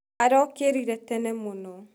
Arokĩrĩre tene mũno.